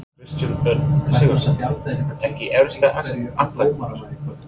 Kristján Örn Sigurðsson Ekki erfiðasti andstæðingur?